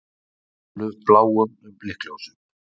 Stálu bláum blikkljósum